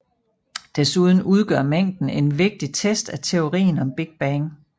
Desuden udgør mængden en vigtig test af teorien om Big Bang